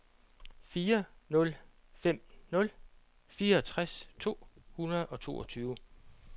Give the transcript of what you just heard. fire nul fem nul fireogtres to hundrede og toogtyve